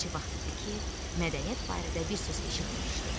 Neçə vaxt idi ki, mədəniyyət barədə bir söz eşitməmişdim.